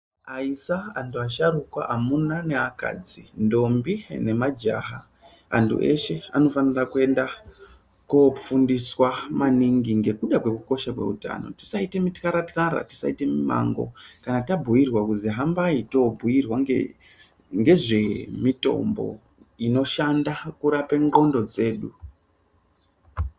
Aisa, antu asharukwa, amuna neakadzi, ntombi nemajaha antu eshe anofanira kuenda kofundiswa maningi ngekuda kwekukosha kweutano tisatyara tyara tisaite mumango kana tabhuirwa kuzi hambai tobhuirwa ngezvemitombo inoshanda kurape ndxondo dzedu.